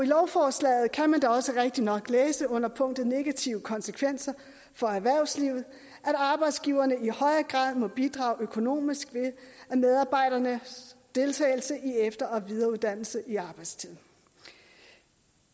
lovforslaget kan man da også rigtigt nok læse under punktet om negative konsekvenser for erhvervslivet at arbejdsgiverne i højere grad må bidrage økonomisk ved medarbejdernes deltagelse i efter og videreuddannelse i arbejdstiden